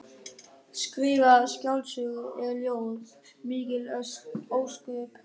Skrifa skáldsögu eða ljóð, mikil ósköp.